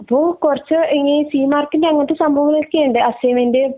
അപ്പൊ കുറച്ചു ഈ സി മാർക്കിന്റെ അനഗ്നെ സംഭാവനകൾ ഒക്കെ ഇണ്ട് അസ്‌സൈന്മെന്റ്